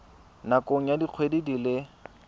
nakong ya dikgwedi di le